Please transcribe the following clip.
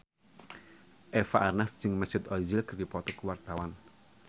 Eva Arnaz jeung Mesut Ozil keur dipoto ku wartawan